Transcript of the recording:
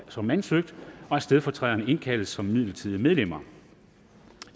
som ansøgt og at stedfortræderne indkaldes som midlertidige medlemmer